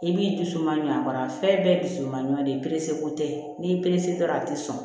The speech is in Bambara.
I b'i dusu mangoya a fɛn bɛɛ dusu man ɲuma de ko tɛ n'i y'i perese dɔrɔn a tɛ sɔn